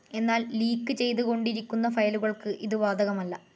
എന്നാൽ ലീക്ക് ചെയ്ത് കൊണ്ടിരിക്കുന്ന ഫയലുകൾക്ക് ഇതു ബാധകമല്ല